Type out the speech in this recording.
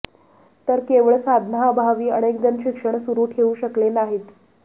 तर केवळ साधनांअभावी अनेकजण शिक्षण सुरू ठेवू शकले नाहीत